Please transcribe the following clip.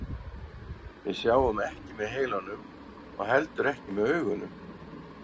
Við sjáum ekki með heilanum og heldur ekki með augunum.